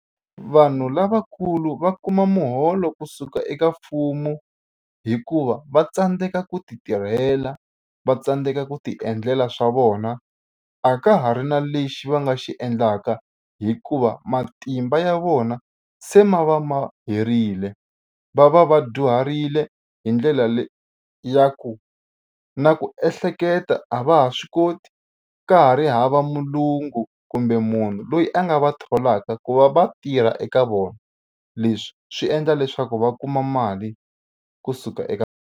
Vanhu lavakulu va kuma muholo kusuka eka mfumo hikuva va tsandzeka ku titirhela va tsandzeka ku tiendlela swa vona a ka ha ri na lexi va nga xi endlaka hikuva matimba ya vona se ma va ma herile va va va dyuharile hi ndlela le ya ku na ku ehleketa a va ha swi koti ka ha ri hava mulungu kumbe munhu loyi a nga va tholaka ku va va tirha eka vona leswi swi endla leswaku va kuma mali kusuka eka.